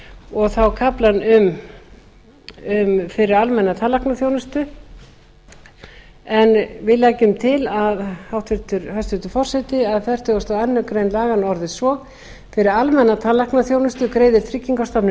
og þá kaflinn fyrir almenna tannlæknaþjónustu en við leggjum til hæstvirtur forseti að fertugasta og aðra grein laganna orðist svo fyrir almenna tannlæknaþjónustu greiðir tryggingastofnun